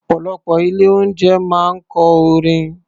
Ọ̀pọ̀lọpọ̀ ilé-oúnjẹ máa ń kọ orin.